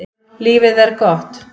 Lífið er gott.